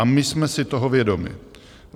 A my jsme si toho vědomi.